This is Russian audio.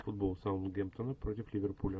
футбол саутгемптона против ливерпуля